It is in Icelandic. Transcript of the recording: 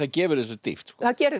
gefur þessu dýpt það